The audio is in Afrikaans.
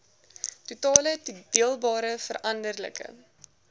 totale toedeelbare veranderlike